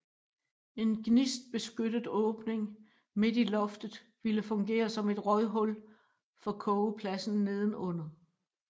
En gnistbeskyttet åbning midt i loftet ville fungere som et røghul for kogepladsen nedenunder